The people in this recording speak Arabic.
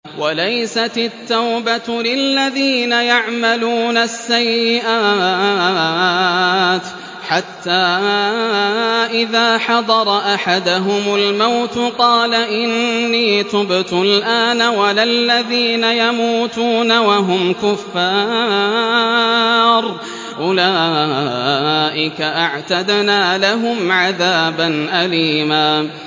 وَلَيْسَتِ التَّوْبَةُ لِلَّذِينَ يَعْمَلُونَ السَّيِّئَاتِ حَتَّىٰ إِذَا حَضَرَ أَحَدَهُمُ الْمَوْتُ قَالَ إِنِّي تُبْتُ الْآنَ وَلَا الَّذِينَ يَمُوتُونَ وَهُمْ كُفَّارٌ ۚ أُولَٰئِكَ أَعْتَدْنَا لَهُمْ عَذَابًا أَلِيمًا